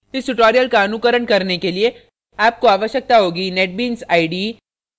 इस tutorial का अनुकरण करने के लिए आपको आवश्यकता होगी netbeans ide